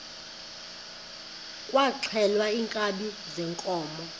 kwaxhelwa iinkabi zeenkomo